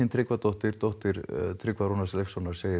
Tryggvadóttir dóttir Tryggva Rúnars Leifssonar segir